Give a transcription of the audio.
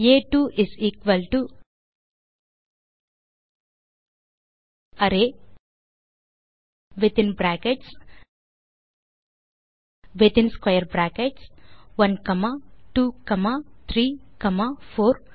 ஆ2 array within brackets within square bracket 1 comma 2 comma 3 comma 4